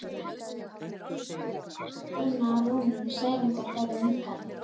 Gilti einu þótt trú manna á rúnir og særingar færi minnkandi.